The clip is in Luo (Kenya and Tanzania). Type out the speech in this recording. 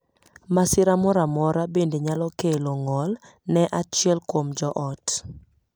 Masira moro amora bende nyalo kelo ng'ol ne achiel kuom joot.